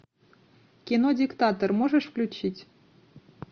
кино диктатор можешь включить